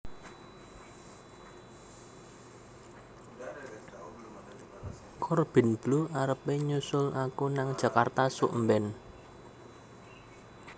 Corbin Bleu arep e nyusul aku nang Jakarta suk mben